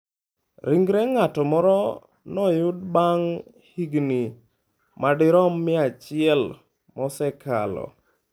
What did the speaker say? Ringre ng'at moro noyud bang' higini madirom 100 mosekalo.